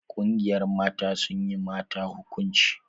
Ƙungiyar mata sun yi mata hukunci.